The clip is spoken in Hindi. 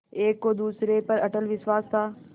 एक को दूसरे पर अटल विश्वास था